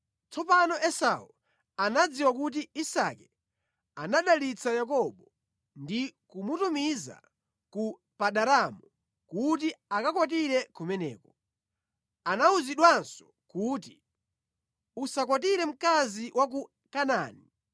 Tsopano Esau anadziwa kuti Isake anadalitsa Yakobo ndi kumutumiza ku Padanaramu kuti akakwatire kumeneko. Anawuzidwanso kuti, “Usakwatire mkazi wa ku Kanaani.”